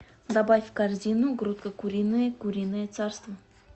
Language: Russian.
добавь в корзину грудка куриная куриное царство